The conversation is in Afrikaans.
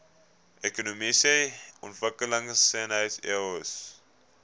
ekonomiese ontwikkelingseenhede eoes